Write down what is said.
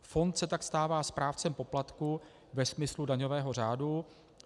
Fond se tak stává správcem poplatků ve smyslu daňového řádu.